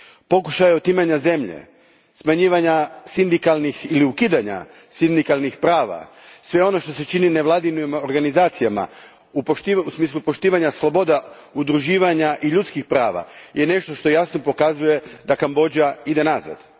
Pokušaji otimanja zemlje, smanjivanja ili ukidanja sindikalnih prava, sve ono što se čini nevladinim organizacijama, u smislu poštivanja sloboda, udruživanja i ljudskih prava, nešto je što jasno pokazuje da Kambodža nazaduje.